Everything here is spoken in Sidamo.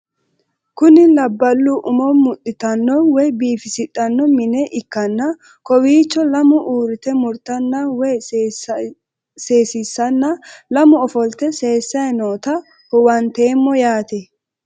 Kuni labalu umo muxitano woyi bifisixano mine ikanna kowichono lamu urite murtana woyi sesisana lamu ofolite sesayi noota huwantemo yaate?